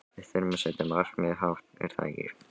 Við þurfum að setja markmiðin hátt er það ekki?